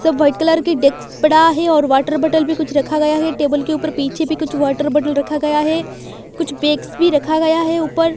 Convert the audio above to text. सब white colour की desks पड़ा है और वाटर बॉटल भी कुछ रखा गया है टेबल के ऊपर पीछे भी कुछ वाटर बॉटल रखा गया है कुछ बैग्स भी रखा गया है ऊपर --